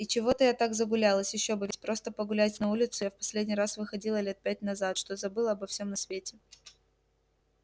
и чего-то я так загулялась ещё бы ведь просто погулять на улицу я в последний раз выходила лет пять назад что забыла обо всем на свете